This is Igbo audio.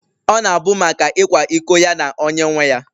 Ọ na-abụ maka ịkwa iko ya na onye nwe ya